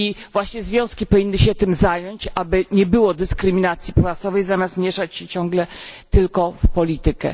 Właśnie związki powinny się tym zająć, aby nie było dyskryminacji płacowej, zamiast mieszać się ciągle tylko w politykę.